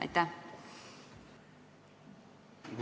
Aitäh!